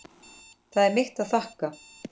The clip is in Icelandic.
Það er mitt að þakka.